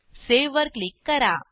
save वर click करा